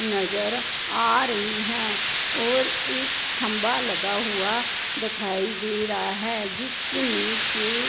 नजर आ रही हैं और एक थंबा लगा हुआ दिखाई दे रहा है जिसमें के--